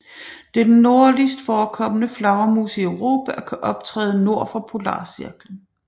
Det er den nordligst forekommende flagermus i Europa og kan optræde nord for polarcirklen